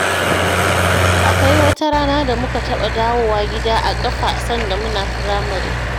Akwai wata rana da muka taɓa dawowa gida a ƙafa sanda muna firamare